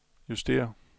justér